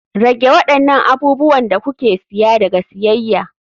Rage waɗannan abubuwan da kuke siya daga siyayya.